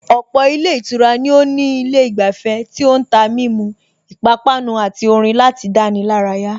Ọ̀pọ̀ ilé ìtura ni ó ní ilé ìgbafẹ́ tí ó ń tà mímu, ipápánu àti orin láti dáni lárayà